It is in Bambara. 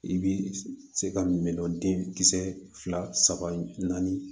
I bɛ se ka min dɔ den kisɛ fila saba saba naani